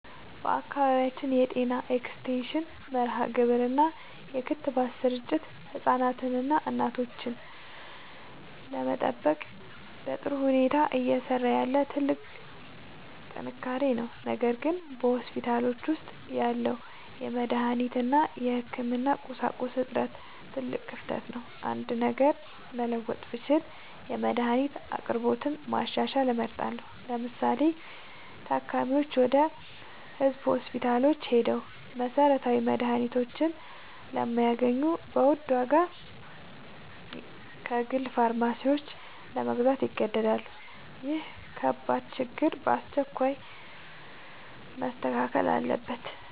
በአካባቢያችን የጤና ኤክስቴንሽን መርሃግብር እና የክትባት ስርጭት ህፃናትንና እናቶችን ለመጠበቅ በጥሩ ሁኔታ እየሰራ ያለ ትልቅ ጥንካሬ ነው። ነገር ግን በሆስፒታሎች ውስጥ ያለው የመድኃኒት እና የህክምና ቁሳቁስ እጥረት ትልቅ ክፍተት ነው። አንድ ነገር መለወጥ ብችል የመድኃኒት አቅርቦትን ማሻሻል እመርጣለሁ። ለምሳሌ፤ ታካሚዎች ወደ ህዝብ ሆስፒታሎች ሄደው መሰረታዊ መድኃኒቶችን ስለማያገኙ በውድ ዋጋ ከግል ፋርማሲዎች ለመግዛት ይገደዳሉ። ይህ ከባድ ችግር በአስቸኳይ መስተካከል አለበት።